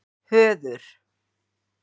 Höður